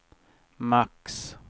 max